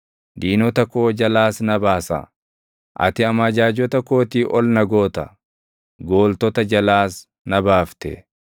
diinota koo jalaas na baasa. Ati amajaajota kootii ol na goota; gooltota jalaas na baafte.